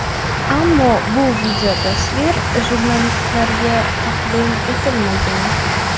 Ammo bu videotasvir jurnalistlarga taqdim etilmagan.